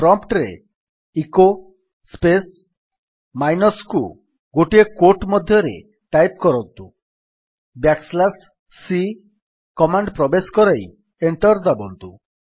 prompt ରେ echo space minus କୁ ଗୋଟିଏ କ୍ୟୋଟ୍ ମଧ୍ୟରେ ଟାଇପ୍ କରନ୍ତୁ ବ୍ୟାକ୍ ସ୍ଲାସ୍ c କମାଣ୍ଡ୍ ପ୍ରବେଶ କରାଇ ଏଣ୍ଟର୍ ଦାବନ୍ତୁ